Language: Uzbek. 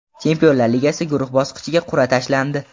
Chempionlar Ligasi guruh bosqichiga qur’a tashlandi.